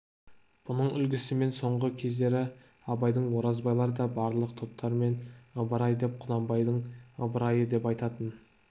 бұның үлгісімен соңғы кездерде абайды оразбайлар да барлық топтарымен ыбырай деп құнанбайдың ыбырайы деп атайтын